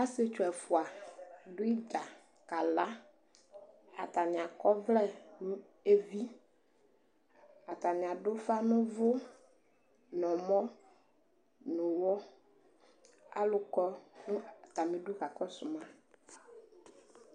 Ə̌Ɔsietdu ɛfʋa dʋ ɩdza kala ;atanɩ akɔvlɛ nʋ evi, atanɩadʋ ʋfa n'ʋvʋ n'ɛmɔ, n'ʋwɔ Alʋ kɔ nʋ atamidu ka kɔsʋ ma